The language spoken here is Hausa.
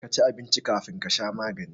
Ka ci abinci kafin ka sha maganin ka